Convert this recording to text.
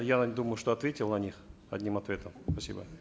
я думаю что ответил на них одним ответом спасибо